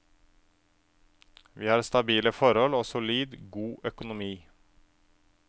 Vi har stabile forhold og solid, god økonomi.